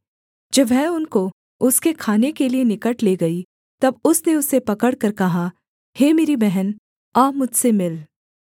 जब वह उनको उसके खाने के लिये निकट ले गई तब उसने उसे पकड़कर कहा हे मेरी बहन आ मुझसे मिल